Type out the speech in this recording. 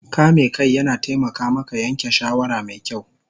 Kame kai yana taimaka maka yanke shawara mai kyau